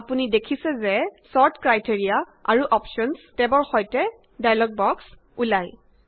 আপুনি দেখিছে যে ছৰ্ট ক্ৰাইটেৰিয়া আৰু অপশ্যনচ টেবৰ সৈতেএটা ডায়্লগ বক্স ওলায়